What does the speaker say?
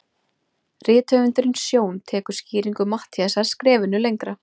Rithöfundurinn Sjón tekur skýringu Matthíasar skrefinu lengra.